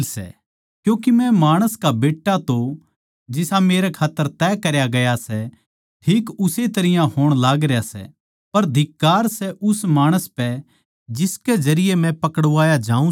क्यूँके मै माणस का बेट्टा तो जिसा मेरे खात्तर तय करया गया सै ठीक उस्से तरियां होण लागरया सै पर धिक्कार सै उस माणस पै जिसकै जरिये मै पकड़वाया जाऊँ सूं